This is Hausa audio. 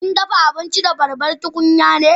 Kin dafa abinci da babbar tukunya ne?